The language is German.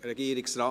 Regierungsrat